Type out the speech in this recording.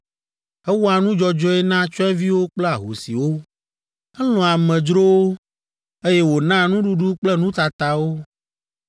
Ewɔa nu dzɔdzɔe na tsyɔ̃eviwo kple ahosiwo. Elɔ̃a amedzrowo, eye wònaa nuɖuɖu kple nutata wo.